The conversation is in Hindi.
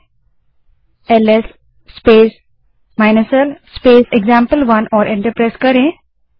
अब एलएस स्पेस l स्पेस एक्जाम्पल1 कमांड टाइप करें और एंटर दबायें